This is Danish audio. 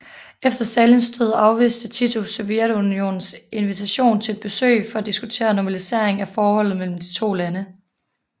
Efter Stalins død afviste Tito Sovjetunionens invitation til et besøg for at diskutere normalisering af forholdet mellem de to lande